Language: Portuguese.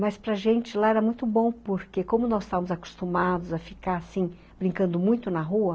Mas para gente lá era muito bom, porque como nós estávamos acostumados a ficar assim brincando muito na rua,